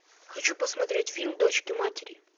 хочу посмотреть фильм дочки матери